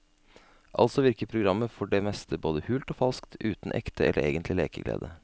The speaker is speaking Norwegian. Altså virker programmet for det meste både hult og falskt, uten ekte eller egentlig lekeglede.